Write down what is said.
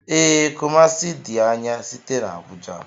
Ee, Kumasi di anya site n'Abuja